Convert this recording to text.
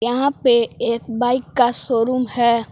यहां पे एक बाइक का शोरूम है।